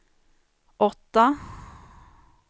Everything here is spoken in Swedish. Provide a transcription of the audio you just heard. åtta